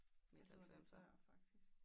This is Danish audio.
Jeg troede det var før faktisk